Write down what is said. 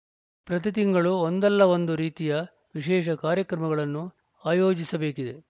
ಪ್ರತಿ ತಿಂಗಳು ಒಂದಲ್ಲ ಒಂದು ರೀತಿಯ ವಿಶೇಷ ಕಾರ್ಯಕ್ರಮಗಳನ್ನು ಆಯೋಜಿಸಬೇಕಿದೆ